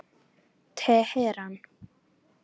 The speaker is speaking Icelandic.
Teheran